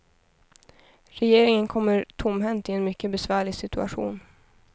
Regeringen kommer tomhänt i en mycket besvärlig situation.